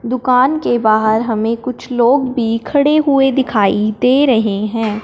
दुकान के बाहर हमें कुछ लोग भी खड़े हुए दिखाई दे रहे हैं।